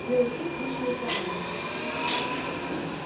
белый клык вышел из вагона